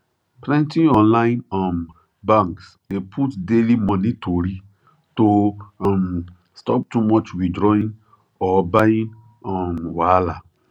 plenty online um banks dey put daily money tori to um stop too much withdrawing or buying um wahala